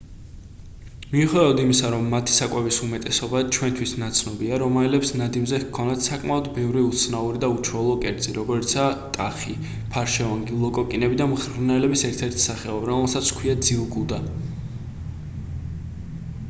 მიუხედავად იმისა რომ მათი საკვების უმეტესობა ჩვენთვის ნაცნობია რომაელებს ნადიმზე ჰქონდათ საკმაოდ ბევრი უცნაური ან უჩვეულო კერძი როგორიცაა ტახი ფარშევანგი ლოკოკინები და მღრღნელების ერთ-ერთი სახეობა რომელსაც ჰქვია ძილგუდა